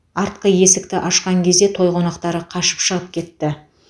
артқы есікті ашқан кезде той қонақтары қашып шығып кетті